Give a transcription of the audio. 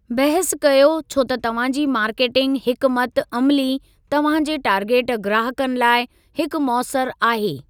बहस कयो छो त तव्हां जी मार्केटिंग हिकमत अमिली तव्हां जे टारगेट ग्राहकनि लाइ हिकु मौसर आहे।